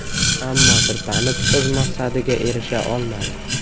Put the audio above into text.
Ammo sirpanib, o‘z maqsadiga erisha olmadi.